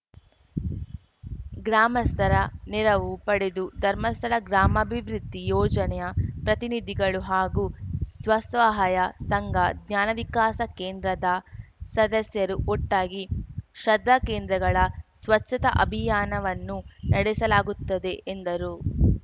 ಗ್ರಾಮಸ್ಥರ ನೆರವು ಪಡೆದು ಧರ್ಮಸ್ಥಳ ಗ್ರಾಮಾಭಿವೃದ್ಧಿ ಯೋಜನೆಯ ಪ್ರತಿನಿಧಿಗಳು ಹಾಗೂ ಸ್ವಸಹಾಯ ಸಂಘ ಜ್ಞಾನವಿಕಾಸ ಕೇಂದ್ರದ ಸದಸ್ಯರು ಒಟ್ಟಾಗಿ ಶ್ರದ್ಧಾಕೇಂದ್ರಗಳ ಸ್ವಚ್ಛತಾ ಅಭಿಯಾನವನ್ನು ನಡೆಸಲಾಗುತ್ತದೆ ಎಂದರು